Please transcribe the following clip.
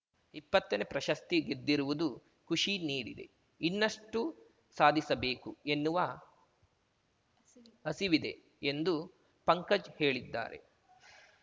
ಇಪ್ಪತ್ತನೇ ಪ್ರಶಸ್ತಿ ಗೆದ್ದಿರುವುದು ಖುಷಿ ನೀಡಿದೆ ಇನ್ನಷ್ಟುಸಾಧಿಸಬೇಕು ಎನ್ನುವ ಹಸಿವಿದೆ ಹಸಿವಿದೆ ಎಂದು ಪಂಕಜ್‌ ಹೇಳಿದ್ದಾರೆ